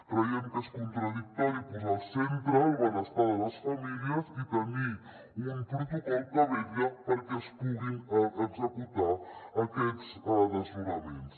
creiem que és contradictori posar al centre el benestar de les famílies i te·nir un protocol que vetlla perquè es puguin executar aquests desnonaments